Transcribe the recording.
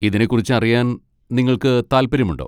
ഇതിനെക്കുറിച്ച് അറിയാൻ നിങ്ങൾക്ക് താൽപ്പര്യമുണ്ടോ?